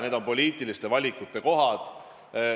Need on poliitiliste valikute kohad.